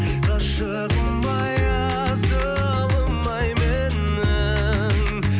ғашығым ай асылым ай менің